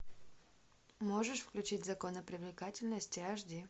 можешь включить законы привлекательности аш ди